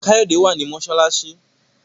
Kayode wá ní masalasi.